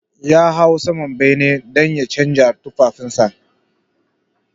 Ya hau saman bene dan ya canja tufafinsa.